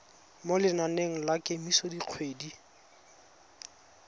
mo lenaneng la kemiso dikgwedi